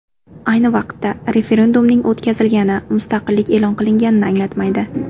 Ayni vaqtda, referendumning o‘tkazilgani mustaqillik e’lon qilinganini anglatmaydi.